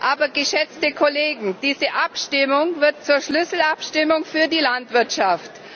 Aber, geschätzte Kollegen, diese Abstimmung wird zur Schlüsselabstimmung für die Landwirtschaft.